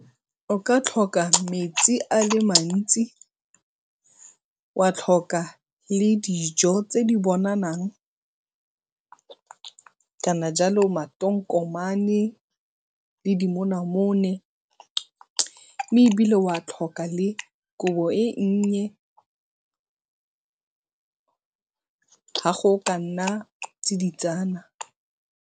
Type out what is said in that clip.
O ka tlhoka metsi a le mantsi wa tlhoka le dijo tse di bonalang kana jalo matokomane le dimonamone mme ebile wa tlhoka le kobo e nnye ha go ka nna tsiditsana.